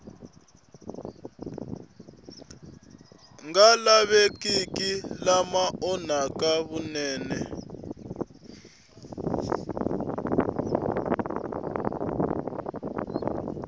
nga lavekiki lama onhaka vunene